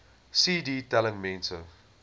cd telling mense